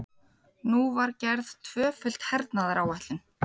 Nú var gerð tvöföld hernaðaráætlun.